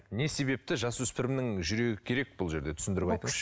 не себепті жасөспірімнің жүрегі керек бұл жерде түсіндіріп айтыңызшы